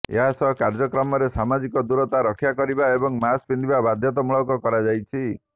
ଏହାସହ କାର୍ଯ୍ୟକ୍ରମରେ ସାମାଜିକ ଦୂରତା ରକ୍ଷା କରିବା ଏବଂ ମାସ୍କ ପିନ୍ଧିବା ବାଧ୍ୟତାମୂଳକ କରାଯାଇଛି